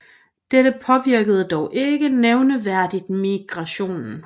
Dette påvirkede dog ikke nævneværdigt migrationen